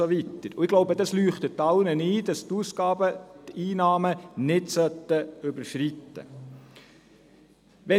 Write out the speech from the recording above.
Ich glaube, es leuchtet allen ein, dass die Ausgaben die Einnahmen nicht überschreiten sollten.